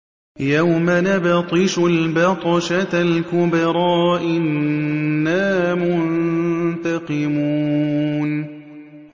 يَوْمَ نَبْطِشُ الْبَطْشَةَ الْكُبْرَىٰ إِنَّا مُنتَقِمُونَ